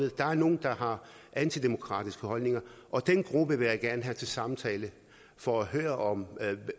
at der er nogle der har antidemokratiske holdninger og den gruppe vil jeg gerne have til en samtale for at høre